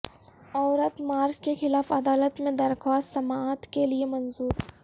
عورت مارچ کے خلاف عدالت میں درخواست سماعت کے لیے منظور